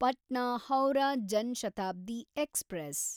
Patna Howrah Jan Shatabdi express